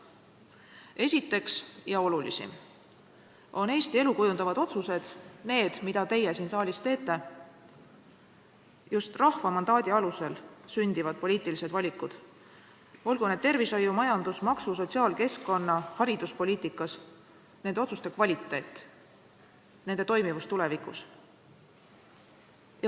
Esiteks, ja see on olulisim tasand, on Eesti elu kujundavad otsused, need, mida teie siin saalis teete, just rahva mandaadi alusel sündivad poliitilised valikud, olgu need tervishoiu-, majandus-, maksu-, sotsiaal-, keskkonna- või hariduspoliitikas, nende otsuste kvaliteet, nende toimivus tulevikus.